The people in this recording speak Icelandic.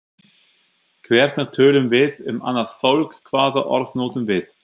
Hvernig tölum við um annað fólk, hvaða orð notum við?